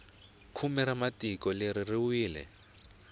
khume ra tiko leri ri wile